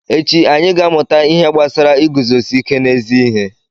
Echi, anyị ga-amụta ihe gbasara iguzosi ike n'ezi ihe.